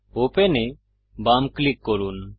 open এ বাম click করুন